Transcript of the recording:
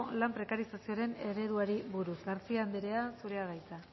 lan prekarizazioaren ereduari buruz garcía anderea zurea da hitza